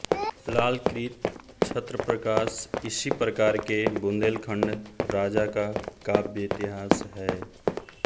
लालकृत छत्रप्रकाश इसी प्रकार के बुन्देलखण्ड राजा का काव्य इतिहास है